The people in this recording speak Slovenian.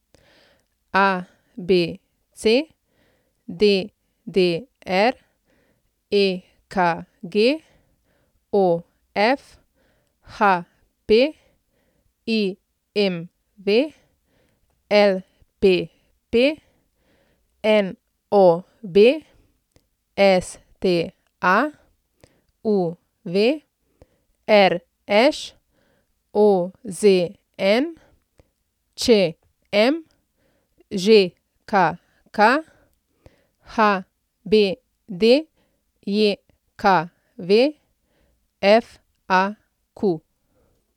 ABC, DDR, EKG, OF, HP, IMV, LPP, NOB, STA, UV, RŠ, OZN, ČM, ŽKK, HBDJKV, FAQ.